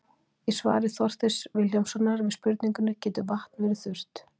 Í svari Þorsteins Vilhjálmssonar við spurningunni Getur vatn verið þurrt?